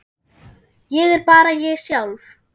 Ég er bara ég sjálf.